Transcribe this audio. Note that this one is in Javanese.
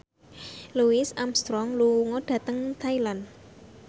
Louis Armstrong lunga dhateng Thailand